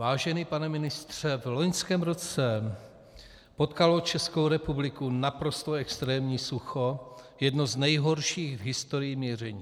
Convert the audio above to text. Vážený pane ministře, v loňském roce potkalo Českou republiku naprosto extrémní sucho, jedno z nejhorších v historii měření.